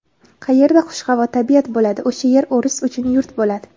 Qayerda xushhavo tabiat bo‘ladi — o‘sha yer o‘ris uchun yurt bo‘ladi.